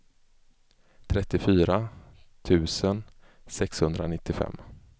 trettiofyra tusen sexhundranittiofem